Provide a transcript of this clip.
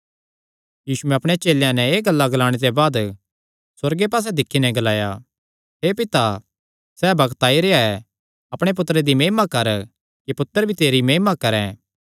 यीशुयैं अपणे चेलेयां नैं एह़ गल्लां ग्लाणे ते बाद सुअर्गे पास्से दिक्खी नैं ग्लाया हे पिता सैह़ बग्त आई रेह्आ ऐ अपणे पुत्तरे दी महिमा कर कि पुत्तर भी तेरी महिमा करैं